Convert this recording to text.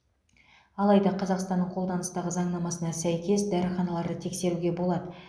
алайда қазақстанның қолданыстағы заңнамасына сәйкес дәріханаларды тексеруге болады